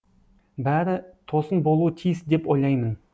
бәрі тосын болуы тиіс деп ойлаймын